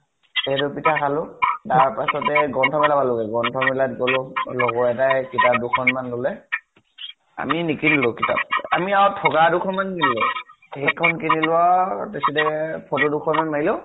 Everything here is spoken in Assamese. সেইটো পিঠা খালো । তাৰ পিছতে গ্ৰন্থমেলা পালোগে । গ্ৰন্থমেলা গʼলো, লগৰ এটা য়ে কিতাপ দুখনমান লʼলে ।আমি নিকিনিলো কিতাপ, আমি আৰু ঠগা দুখন মান কিনিলো । সেইখন কিনিলো আৰু , বেছি দেৰি , photo দুখনমান মাৰিলো